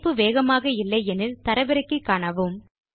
இணைப்பு வேகமாக இல்லை எனில் அதை தரவிறக்கி காணுங்கள்